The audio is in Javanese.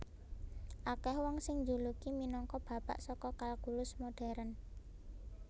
Akèh wong sing njuluki minangka bapak saka calculus modhèrn